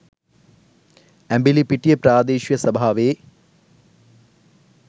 ඇඹිලිපිටිය ප්‍රාදේශීය සභාවේ